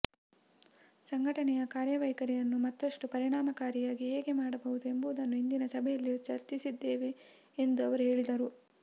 ಸಂಘಟನೆಯ ಕಾರ್ಯವೈಖರಿಯನ್ನು ಮತ್ತಷ್ಟು ಪರಿಣಾಮಕಾರಿಯಾಗಿ ಹೇಗೆ ಮಾಡಬಹುದು ಎಂಬುದನ್ನು ಇಂದಿನ ಸಭೆಯಲ್ಲಿ ಚರ್ಚಿಸಿದ್ದೇವೆ ಎಂದು ಅವರು ಹೇಳಿದರು